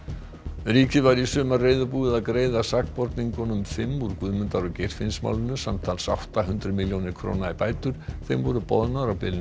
ríkið var í sumar reiðubúið að greiða sakborningunum fimm úr Guðmundar og Geirfinnsmálinu samtals átta hundruð milljónir króna í bætur þeim voru boðnar á bilinu